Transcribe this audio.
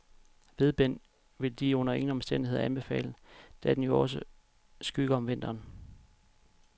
Vedbend vil de under ingen omstændigheder anbefale, da den jo også skygger om vinteren.